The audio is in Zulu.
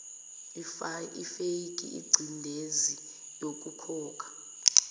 ifake ingcindezi yokukhokha